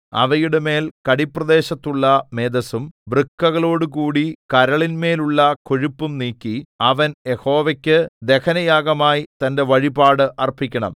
അവയുടെമേൽ കടിപ്രദേശത്തുള്ള മേദസ്സും വൃക്കകളോടുകൂടി കരളിന്മേലുള്ള കൊഴുപ്പും നീക്കി അവൻ യഹോവയ്ക്കു ദഹനയാഗമായി തന്റെ വഴിപാട് അർപ്പിക്കണം